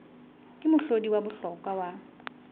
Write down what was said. ke mohlodi wa bohlokwa wa